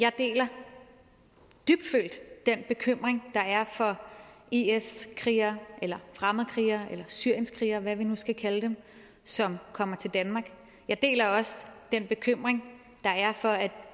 jeg deler dybtfølt den bekymring der er for is krigere fremmedkrigere syrienskrigere eller hvad vi nu skal kalde dem som kommer til danmark jeg deler også den bekymring der er for at